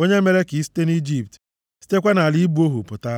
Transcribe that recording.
onye mere ka ị site nʼIjipt, sitekwa nʼala ịbụ ohu pụta.